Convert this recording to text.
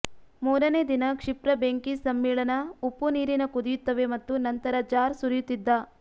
ಮೂರನೇ ದಿನ ಕ್ಷಿಪ್ರ ಬೆಂಕಿ ಸಮ್ಮಿಳನ ಉಪ್ಪುನೀರಿನ ಕುದಿಯುತ್ತವೆ ಮತ್ತು ನಂತರ ಜಾರ್ ಸುರಿಯುತ್ತಿದ್ದ